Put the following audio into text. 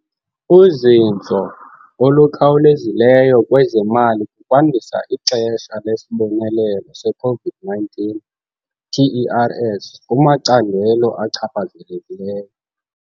uzinzo olukhawulezileyo kwezemali kukwandisa ixesha lesibonelelo se-COVID-19 TERS kumacandelo achaphazelekileyo.